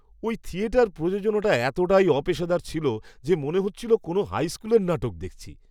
ওই থিয়েটার প্রযোজনাটা এতটাই অপেশাদার ছিল যে মনে হচ্ছিল কোনো হাই স্কুলের নাটক দেখছি!